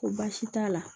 Ko baasi t'a la